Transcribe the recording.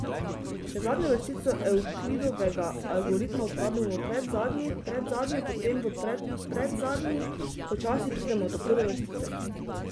Če zadnjo vrstico Evklidovega algoritma uporabimo v predzadnji, predzadnjo potem v predpredzadnji, počasi pridemo do prve vrstice.